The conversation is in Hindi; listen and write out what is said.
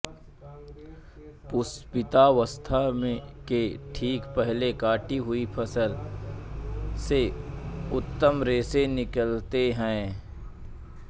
पुष्पितावस्था के ठीक पहले काटी हुई फसल से उत्तम रेशे निकलते हैं